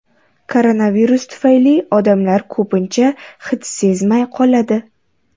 Koronavirus tufayli odamlar ko‘pincha hid sezmay qoladi.